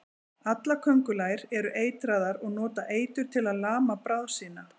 Allar köngulær eru eitraðar og nota eitur til að lama bráð sína.